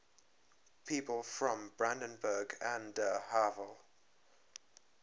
people from brandenburg an der havel